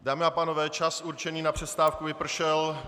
Dámy a pánové, čas určený na přestávku vypršel.